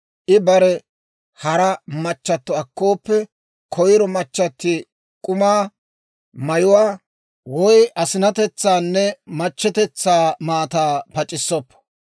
I barew hara machato akkooppe, koyro machatiw k'umaa, mayuwaa woy asinatetsaanne machchetetsaa maataa pac'issoppo.